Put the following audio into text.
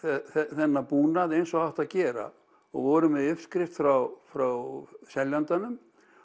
þennan búnað eins og átti að gera og voru með uppskrift frá frá seljandanum